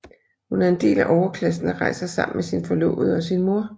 Hun er en del af overklassen og rejser sammen med sin forlovede og sin mor